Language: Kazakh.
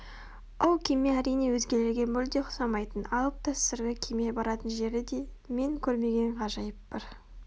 ол кеме әрине өзгелерге мүлде ұқсамайтын алып та сырлы кеме баратын жері де мен көрмеген ғажайып бір